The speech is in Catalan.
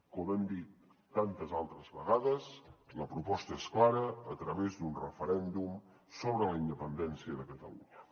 com hem dit tantes altres vegades la proposta és clara a través d’un referèndum sobre la independència de catalunya